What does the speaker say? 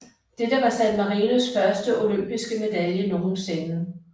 Dette var San Marinos første olympiske medalje nogensinde